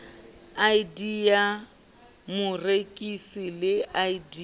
id ya morekisi le id